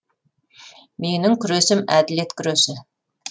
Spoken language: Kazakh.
менің күресім әділет күресі